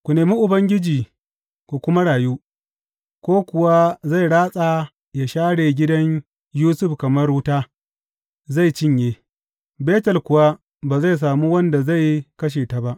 Ku nemi Ubangiji ku kuma rayu, ko kuwa zai ratsa yă share gidan Yusuf kamar wuta; zai cinye Betel kuwa ba zai sami wanda zai kashe ta ba.